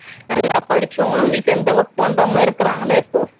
நல்லா படிச்சவங்களும் வீட்டில் இருந்து work பண்றவங்களும் இருக்காங்கல்ல இப்போ